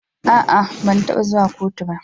A'a, ban taba zuwa kotu ba.